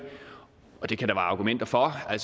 og det kan der være argumenter for at